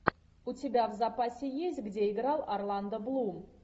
у тебя в запасе есть где играл орландо блум